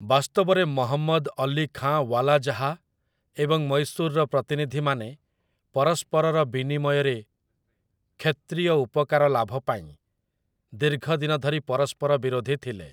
ବାସ୍ତବରେ ମହମ୍ମଦ ଅଲୀ ଖାଁ ୱାଲାଜାହା ଏବଂ ମୈଶୂରର ପ୍ରତିନିଧିମାନେ ପରସ୍ପରର ବିନିମୟରେ କ୍ଷେତ୍ରୀୟ ଉପକାର ଲାଭ ପାଇଁ ଦୀର୍ଘ ଦିନ ଧରି ପରସ୍ପର ବିରୋଧୀ ଥିଲେ ।